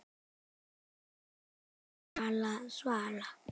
Svala, Svala, Svala!